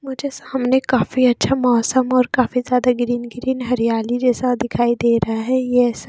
मुझे सामने काफी अच्छा मौसम और काफी ज्याद ग्रीन ग्रीन हरियाली जैसा दिखाई दे रहा है ये ऐसा--